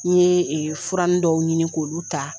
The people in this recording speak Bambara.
N ye furanin dɔw ɲini k'olu ta